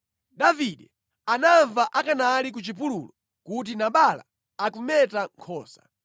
Davide anamva akanali ku chipululu kuti Nabala akumeta nkhosa.